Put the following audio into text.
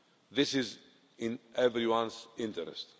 This is in everyone's interest.